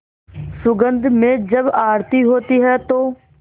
सुगंध में जब आरती होती है तो